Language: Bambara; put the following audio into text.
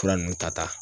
Fura nunnu ta ta